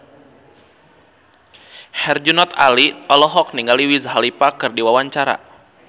Herjunot Ali olohok ningali Wiz Khalifa keur diwawancara